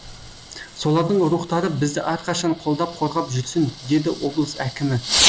солардың рухтары бізді әрқашан қолдап қорғап жүрсін деді облыс әкімі